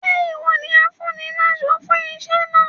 Ṣé ìwọ ni afúniláṣọ fún iṣẹ́ náà?